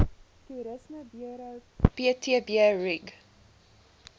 toerismeburo ptb rig